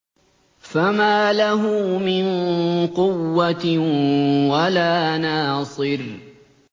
فَمَا لَهُ مِن قُوَّةٍ وَلَا نَاصِرٍ